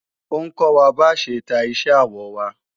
Ó ń kọ́ wa bá ṣe ta iṣẹ́ awọ wa